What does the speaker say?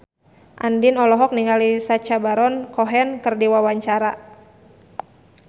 Andien olohok ningali Sacha Baron Cohen keur diwawancara